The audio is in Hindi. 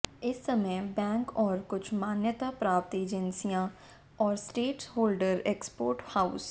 इस समय बैंक और कुछ मान्यता प्राप्त एजेंसियां और स्टेटस होल्डर एक्सपोर्ट हाउस